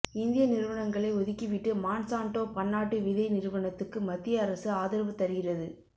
இந்திய நிறுவனங்களை ஒதுக்கிவிட்டு மாண்சாண்ட்டோ பன்னாட்டு விதை நிறுவனத்துக்கு மத்திய அரசு ஆதரவு தருகிறது